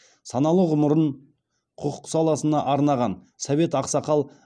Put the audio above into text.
саналы ғұмырын құқық саласына арнаған совет ақсақал